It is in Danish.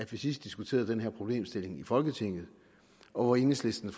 vi sidst diskuterede den her problemstilling i folketinget og enhedslisten